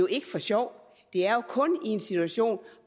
ikke for sjov det er jo kun i en situation